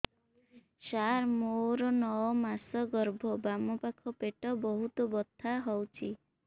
ସାର ମୋର ନଅ ମାସ ଗର୍ଭ ବାମପାଖ ପେଟ ବହୁତ ବଥା ହଉଚି